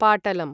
पाटलम्